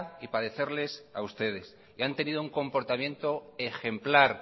y padecerles a ustedes y han tenido un comportamiento ejemplar